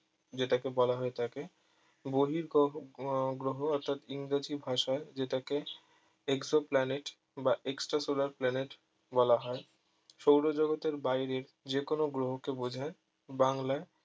যেটাকে বলা হয়ে থাকে বহিঃ গ্রহ ও গ্রহ অর্থাৎ ইংরেজি ভাষায় যেটাকে Exoplanet বা extra solar planet বলা হয় সৌরজগতের বাইরে যে কোনো গ্রহকে বোঝায় বাংলায়